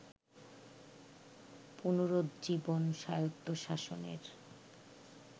পুনরুজ্জীবন স্বায়ত্তশাসনের